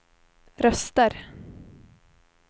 röster